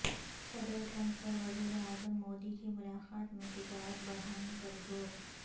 صدر ٹرمپ اور وزیر اعظم مودی کی ملاقات میں تجارت بڑھانے پر زور